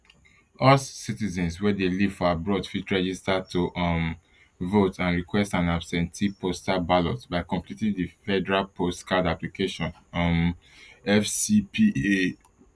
us citizens wey dey live for abroad fitregister to um vote and request an absentee postal ballot by completing di federal post card application um fcpa